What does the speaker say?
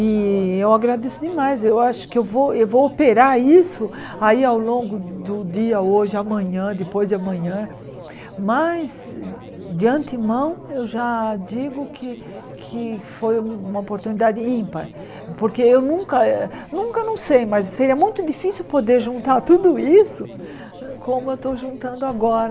E eu agradeço demais, eu acho que eu vou eu vou operar isso aí ao longo do dia, hoje, amanhã, depois de amanhã, mas de antemão eu já digo que que foi uma oportunidade ímpar, porque eu nunca, eh nunca não sei, mas seria muito difícil poder juntar tudo isso como eu estou juntando agora.